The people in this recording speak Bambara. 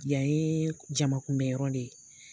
Yan ye jama kunbɛn yɔrɔ de ye.